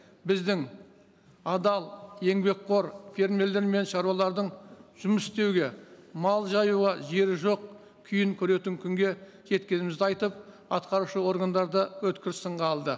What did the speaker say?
біздің адал еңбекқор фермерлер мен шаруалардың жұмыс істеуге мал жаюға жері жоқ күйін көретін күнге жеткенімізді айтып атқарушы органдарды өткір сынға алды